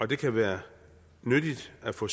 det kan være nyttigt at få